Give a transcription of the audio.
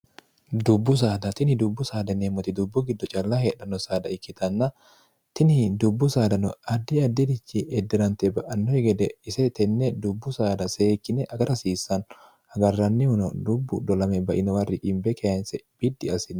dubbu saada tini dubbu saada neemmote dubbu giddo calla hedhanno saada ikkitanna tini dubbu saadano addi addirichi eddirante ba'annoi gede ise tenne dubbu saada seekkine agarhasiissaan hagarrannihuno dubbu biowar i keense biddi assino